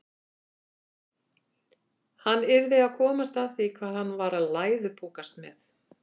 Hann yrði að komast að því hvað hann var að læðupokast með.